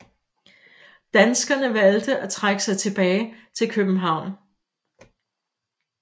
Danskerne valgte at trække sig tilbage til København